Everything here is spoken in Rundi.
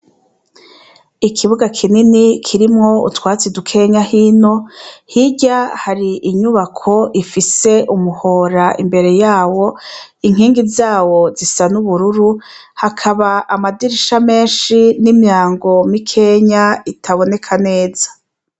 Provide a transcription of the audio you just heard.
Ikibuga kinini kirimw'utwatsi dukenya hino, hirya har'inyubak' ifis'umuhor'imbere yawo, inkingi zawo zisa n"'ubururu, hakab'amadirisha menshi n'imyango mikeny'itaboneka neza.